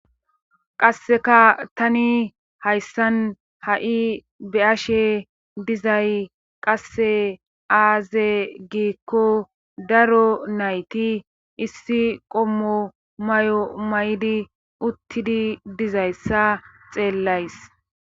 qasseka tani hayssan ha7i be ashe dizay qasse aaze giikko daro nayti issi qommo may7o may7di uttidi dizayssa xeellays